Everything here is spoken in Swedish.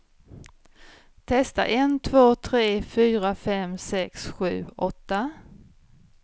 Testar en två tre fyra fem sex sju åtta.